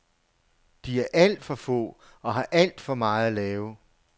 De er alt for få og har alt for meget at lave.